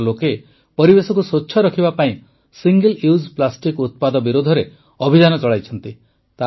ଏଠାକାର ଲୋକେ ପରିବେଶକୁ ସ୍ୱଚ୍ଛ ରଖିବା ପାଇଁ ସିଙ୍ଗଲ୍ୟୁଜ୍ ପ୍ଲାଷ୍ଟିକ ଉତ୍ପାଦ ବିରୋଧରେ ଅଭିଯାନ ଚଳାଇଛନ୍ତି